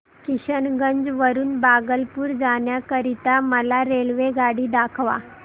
किशनगंज वरून भागलपुर जाण्या करीता मला रेल्वेगाडी दाखवा